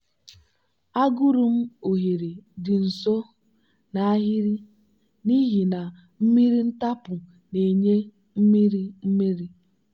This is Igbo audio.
agụrụ m oghere dị nso n'ahịrị n'ihi na mmiri ntapu na-enye mmiri mmiri.